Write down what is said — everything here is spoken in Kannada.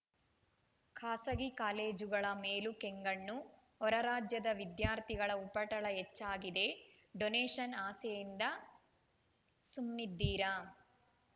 ಖಾಸಗಿ ಕಾಲೇಜುಗಳ ಮೇಲೂ ಕೆಂಗಣ್ಣು ಹೊರರಾಜ್ಯದ ವಿದ್ಯಾರ್ಥಿಗಳ ಉಪಟಳ ಹೆಚ್ಚಾಗಿದೆ ಡೋನೇಶನ್‌ ಆಸೆಯಿಂದ ಸುಮ್ನಿದ್ದೀರಾ